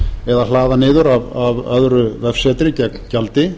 eða hlaða niður af öðru vefsetri gegn gjaldi